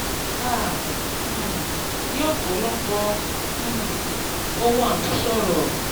"a um ní ọ̀pọ̀lọpọ̀ um ohun àmúṣọrọ̀.